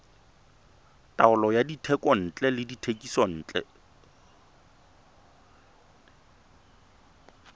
taolo ya dithekontle le dithekisontle